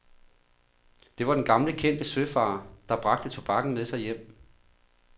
Det var den gamle kendte søfarer, der bragte tobakken med sig hjem.